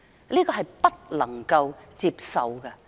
這是不能夠接受的。